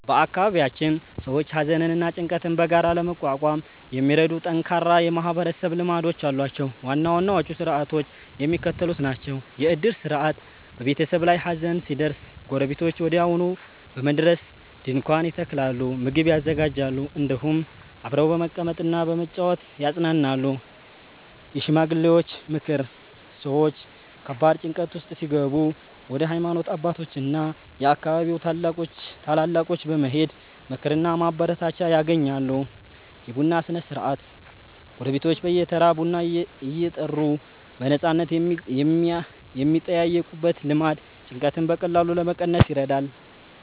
በአካባቢያችን ሰዎች ሐዘንና ጭንቀትን በጋራ ለመቋቋም የሚረዱ ጠንካራ የማህበረሰብ ልማዶች አሏቸው። ዋና ዋናዎቹ ሥርዓቶች የሚከተሉት ናቸው፦ የዕድር ሥርዓት፦ በቤተሰብ ላይ ሐዘን ሲደርስ ጎረቤቶች ወዲያውኑ በመድረስ ድንኳን ይተክላሉ፣ ምግብ ያዘጋጃሉ፤ እንዲሁም አብረው በመቀመጥና በመጨዋወት ያጽናናሉ። የሽማግሌዎች ምክር፦ ሰዎች ከባድ ጭንቀት ውስጥ ሲገቡ ወደ ሃይማኖት አባቶችና የአካባቢው ታላላቆች በመሄድ ምክርና ማበረታቻ ያገኛሉ። የቡና ሥነ-ሥርዓት፦ ጎረቤቶች በየተራ ቡና እየጠሩ በነፃነት የሚጠያየቁበት ልማድ ጭንቀትን በቀላሉ ለመቀነስ ይረዳል።